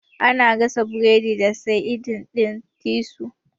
Ana gasa burodi da saidin ɗin titus.